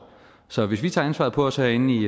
så hvis vi tager ansvaret på os herinde i